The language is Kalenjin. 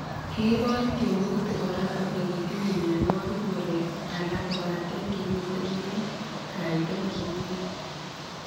Kiibor tyemutik kora kole kitinye mianwogik murek alak kobate kimitei eng' kaitet nbo ng'ony